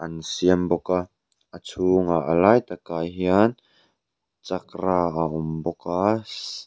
an siam bawk a a chhungah a lai takah hian chakra a awm bawk a sh--